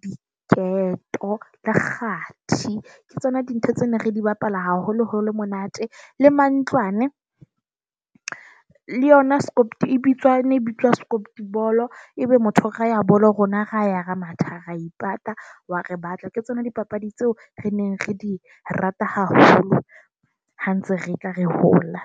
diketo, le kgathi. Ke tsona dintho tse ne re di bapala haholoholo ho le monate. Le mantlwane le yona Scott e bitswang e bitswa script Bolo Ebe motho o raha bolo, rona ra ya re matha, re ipata, wa re batla. Ke tsona dipapadi tseo re neng re di rata haholo ha ntse re tla re hola.